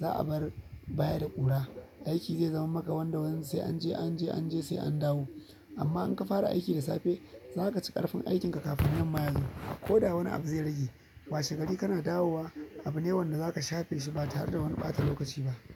Za a bar baya da ƙura. Aiki zai zama maka wanda sai an je, an je an je sai an dawo. Amma in ka fara aiki da safe, za ka ci ƙarfin aikinka kafin yamma yazo. Ko da wani abu zai rage, washegari kana dawowa, abu ne wanda zaka shafe shi ba tare da wani ɓata lokaci ba.